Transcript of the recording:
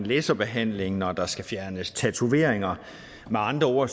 laserbehandling når der skal fjernes tatoveringer med andre ord